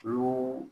Olu